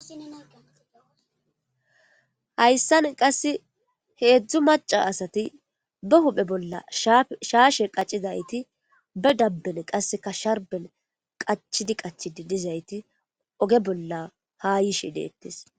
hayssan qasse heedzdzu maca asati ba huphe bolla shaashe qaccidayti ba dabben qasseka sharben qachidi qachi di dizayti oge bolla ha yishe deettes